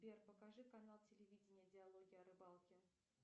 сбер покажи канал телевидения диалоги о рыбалке